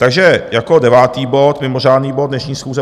Takže jako devátý bod, mimořádný bod dnešní schůze